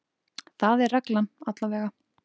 Það er reglan, allavega.